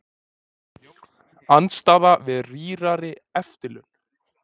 Andstaða við rýrari eftirlaun